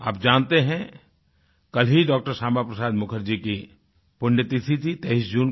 आप जानते हैं कल ही डॉ० श्यामा प्रसाद मुखर्जी की पुण्यतिथि थी 23 जून को